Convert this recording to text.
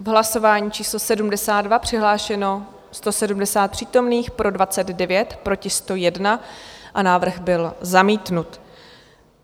V hlasování číslo 72 přihlášeno 170 přítomných, pro 29, proti 101 a návrh byl zamítnut.